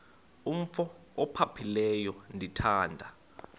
umf ophaphileyo ndithanda